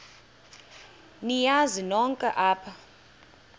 niyazi nonk apha